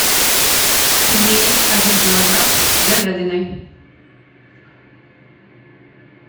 пельмени один килограмм с говядиной